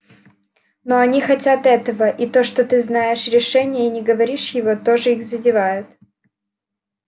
но они хотят этого и то что ты знаешь решение и не говоришь его тоже их задевает